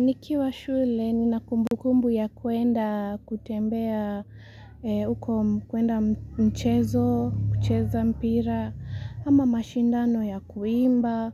Nikiwa shule ni nakumbukumbu ya kuenda kutembea uko kuenda mchezo, kucheza mpira ama mashindano ya kuimba.